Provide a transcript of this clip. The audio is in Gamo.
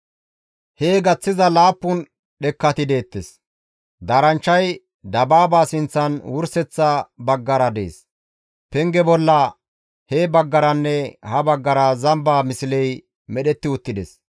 Hee gaththiza laappun dhekkati deettes. Daaranchchay dabaaba sinththan wurseththa baggara dees. Pengeza bolla he baggaranne ha baggara zamba misley medhetti uttides.